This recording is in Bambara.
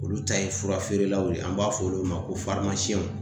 Olu ta ye furafeerelaw ye an b'a fɔ olu ma ko